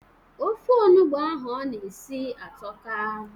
Ofe onugbo ahụ ọ na-esi atọka.